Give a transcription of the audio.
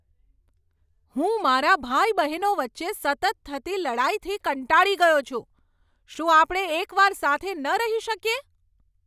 હું મારા ભાઈ બહેનો વચ્ચે સતત થતી લડાઈથી કંટાળી ગયો છું. શું આપણે એક વાર સાથે ન રહી શકીએ?